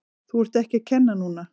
Þú ert ekki að kenna núna!